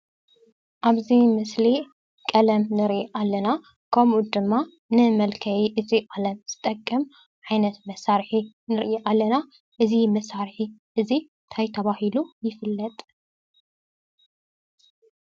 ኣብ እዚ ምስሊ ቀለም ንሪኢ ኣለና። ከምኡ ድማ ንመልከይ እዚ ቀለም ዝጠቅም ዓይነት መሳርሒ ንርኢ ኣለና፡፡ እዚ መሳርሒ እዚ ታይ ተባሂሉ ይፍለጥ ፡፡